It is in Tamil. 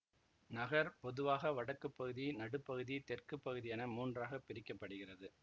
நகர் பொதுவாக வடக்கு பகுதி நடுப் பகுதி தெற்கு பகுதி என மூன்றாக பிரிக்க படுகிறது